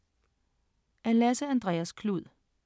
Af Lasse Andreas Gluud